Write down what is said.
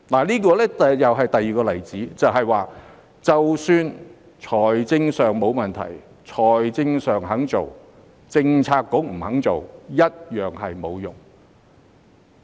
這是第二個例子，即使財政上沒有問題，但政策局不肯做，一樣沒有用。